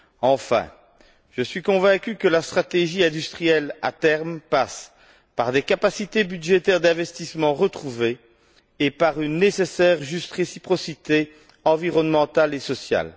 Enfin, je suis convaincu que la stratégie industrielle, à terme, passe par des capacités budgétaires d'investissement retrouvées et par une nécessaire juste réciprocité environnementale et sociale.